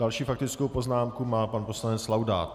Další faktickou poznámku má pan poslanec Laudát.